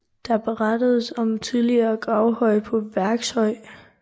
Der berettedes om en tidligere gravhøj på Værkshøj